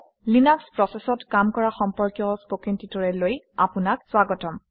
Linux প্ৰচেচত কাম কৰা সম্পৰ্কীয় কথন প্ৰশিক্ষণলৈ আপোনাক স্বাগতম